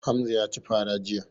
Hamza ya ci fara jiya.